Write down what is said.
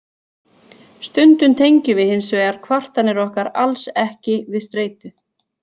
Stundum tengjum við hins vegar kvartanir okkar alls ekki við streitu.